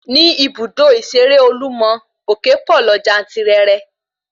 Ní ibùdó ìṣeré olúmọ, òképọ̀ lọ jantirẹrẹ